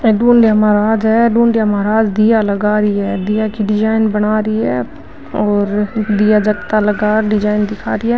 अ डुंडिया महराज है डुंडिया महाराज दिया लगा रिया है दिया की डिजाइन बना री है और दिया जगता लगा डिजाइन दिखा रिया।